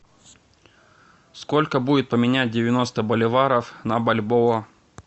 сколько будет поменять девяносто боливаров на бальбоа